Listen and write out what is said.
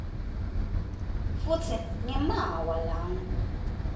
futsi ngemaawa langu